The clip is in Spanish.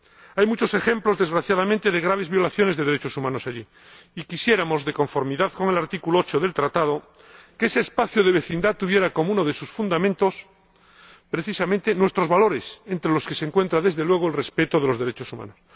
Hay muchos ejemplos, desgraciadamente, de graves violaciones de derechos humanos allí, y quisiéramos, de conformidad con el artículo 8 del Tratado, que ese espacio de vecindad tuviera como uno de sus fundamentos precisamente nuestros valores, entre los que se encuentra, desde luego, el respeto de los derechos humanos.